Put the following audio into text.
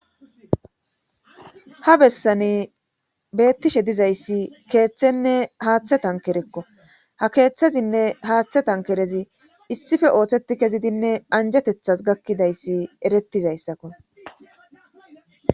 ha bessani beettishe dizayssi keeththenne haaththe tankerekko ha keeththezinne haaththe tankerezi issife ooththeti kezidinne anjetethas gakkidayssi erettizayssakko